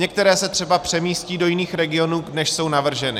Některé se třeba přemístí do jiných regionů, než jsou navrženy.